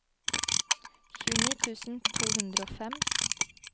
tjueni tusen to hundre og fem